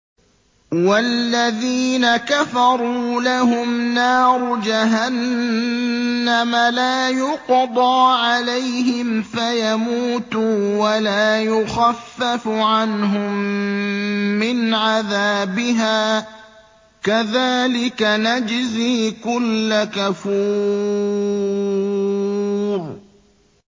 وَالَّذِينَ كَفَرُوا لَهُمْ نَارُ جَهَنَّمَ لَا يُقْضَىٰ عَلَيْهِمْ فَيَمُوتُوا وَلَا يُخَفَّفُ عَنْهُم مِّنْ عَذَابِهَا ۚ كَذَٰلِكَ نَجْزِي كُلَّ كَفُورٍ